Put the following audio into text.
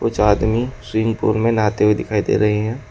कुछ आदमी swimming pool में नहाते हुए दिखाई दे रही हैं।